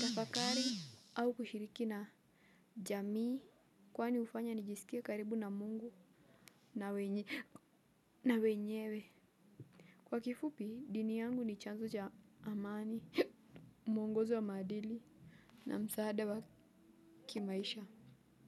tafakari au kushiriki na jamii kwani hufanya nijisikie karibu na mungu na wenyewe. Kwa kifupi, dini yangu ni chanzo cha amani, mwongozo wa maadili, na msaada wa kimaisha.